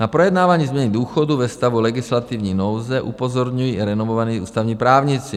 Na projednávání změny důchodů ve stavu legislativní nouze upozorňují i renomovaní ústavní právníci.